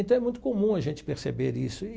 Então, é muito comum a gente perceber isso.